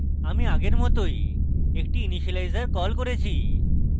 আমি আগের মতই একটি ইনিসিয়েলাইজর কল করেছি